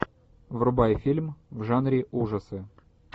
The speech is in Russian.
врубай фильм в жанре ужасы